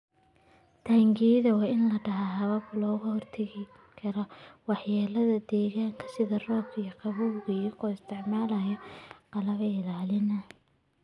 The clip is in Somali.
Taangiyada waa inay lahaadaan habab looga hortago waxyeelada deegaanka sida roobka iyo qabowga iyadoo la isticmaalayo qalab ilaalin ah.